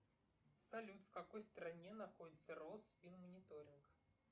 салют в какой стране находится росфинмониторинг